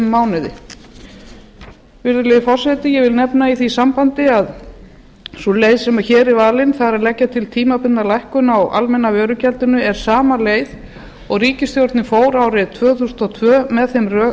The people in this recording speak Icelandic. mánuði virðulegi forseti ég vil nefna í því sambandi að sú leið sem hér er valin það er að leggja til tímabundna lækkun á almenna vörugjaldi er sama leið og ríkisstjórnin fór árið tvö þúsund og tvö með þeim